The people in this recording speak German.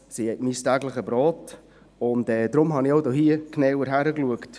Pferde sind mein tägliches Brot, und deshalb habe ich hier auch genauer hingeschaut.